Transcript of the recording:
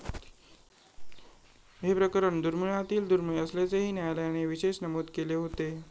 हे प्रकरण दुर्मिळातील दुर्मिळ असल्याचेही न्यायालयाने विशेष नमूद केले होते.